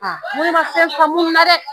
n ko ne man fɛn faamu nin na dɛ.